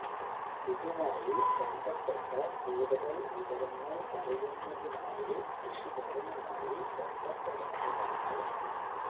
ഇതുമായി ബന്ധപ്പെട്ട കൂടുതല് വിവരങ്ങള് അറിയുന്നതിനായി കൃഷി ഭവനുമായി ബന് ധപ്പെടേണ്ടതാണ്